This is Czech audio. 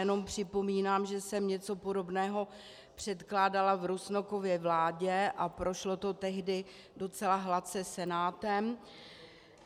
Jenom připomínám, že jsem něco podobného předkládala v Rusnokově vládě a prošlo to tehdy docela hladce Senátem.